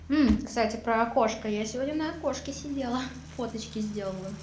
кстати про окошко я сегодня на окошке сидела фоточки сделала